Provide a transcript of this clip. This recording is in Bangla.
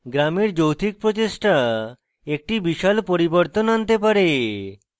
গ্রামের যৌথিক প্রচেষ্টা একটি বিশাল পরিবর্তন আনতে পারে